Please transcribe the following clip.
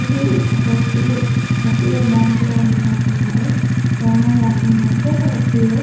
ఇది ఒక SBI SBI bank లో వున్నట్టున్నారు లోనో యాప్ వుందంటే ఎస్_బి_ఐ .